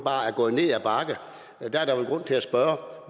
er gået ned ad bakke der er der vel grund til at spørge